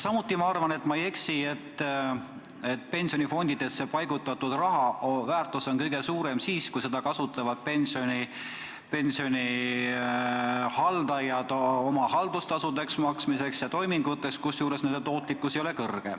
Samuti arvan ma, et ma ei eksi selles, et pensionifondidesse paigutatud raha väärtus on kõige suurem siis, kui seda kasutavad pensionifondide haldajad haldustasude võtmiseks ja muudeks toiminguteks, kusjuures fondide tootlikkus ei ole suur.